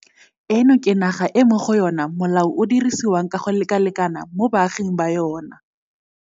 Eno ke naga e mo go yona molao o dirisiwang ka go lekalekana mo baaging ba yona.